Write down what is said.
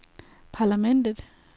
parlamentet